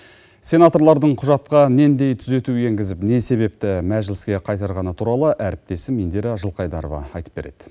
сенаторлардың құжатқа нендей түзету енгізіп не себепті мәжіліске қайтарғаны туралы әріптесім индира жылқайдарова айтып береді